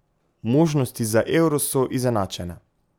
Možnosti za euro so izenačene.